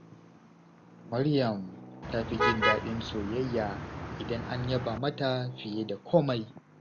Maryam ta fi jin daɗin soyayya idan an yaba mata fiye da komai.